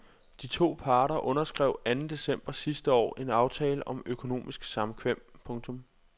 De to parter underskrev anden december sidste år en aftale om økonomisk samkvem. punktum